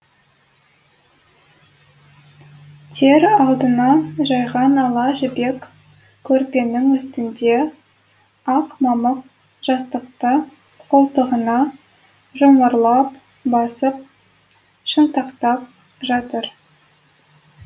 тер алдында жайған ала жібек көрпенің үстінде ақ мамық жастықты қолтығына жұмарлап басып шынтақтап жатыр